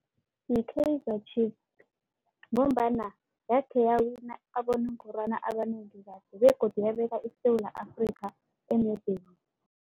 Yi-Kaizer Chiefs ngombana yakhe yawina abonongorwana abanengi kade begodu yabeka iSewula Afrika emebheni.